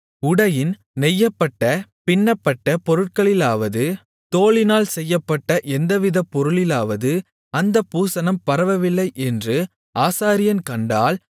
உடையின் நெய்யப்பட்ட பின்னப்பட்ட பொருட்களிலாவது தோலினால் செய்யப்பட்ட எந்தவித பொருளிலாவது அந்தப் பூசணம் பரவவில்லை என்று ஆசாரியன் கண்டால்